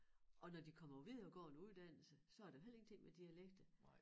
Og når de kommer på videregående uddannelser så er der heller ingenting med dialekter